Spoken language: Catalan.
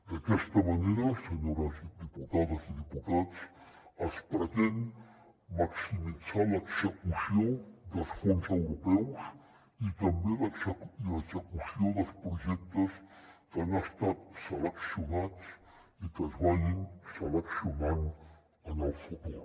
d’aquesta manera senyores diputades i diputats es pretén maximitzar l’execució dels fons europeus i també l’execució dels projectes que han estat seleccionats i que es seleccionin en el futur